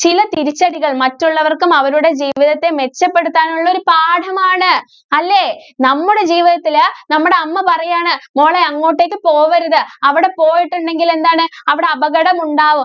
ചില തിരിച്ചടികള്‍ മറ്റുള്ളവര്‍ക്കും അവരുടെ ജീവിതത്തെ മെച്ചപ്പെടുത്താനുള്ള ഒരു പാഠമാണ് അല്ലേ? നമ്മുടെ ജീവിതത്തില് നമ്മടെ അമ്മ പറയാണ് മോളെ അങ്ങോട്ടേക്ക് പോവരുത്. അവടെ പോയിട്ടുണ്ടെങ്കില്‍ എന്താണ് അവടെ അപകടം ഉണ്ടാവും.